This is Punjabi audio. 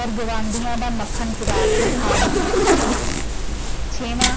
ਔਰ ਗੁਆਢੀਆਂ ਦਾ ਮੱਖਣ ਚੁਰਾ ਕੇ ਖਾ ਜਾਂਦੇ ਸੀ। ਛੇਵਾਂ